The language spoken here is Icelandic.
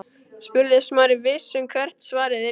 spurði Smári, viss um hvert svarið yrði.